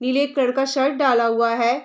नीले कलर का शर्ट डाला हुआ है।